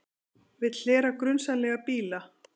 Vill hlera grunsamlega bíla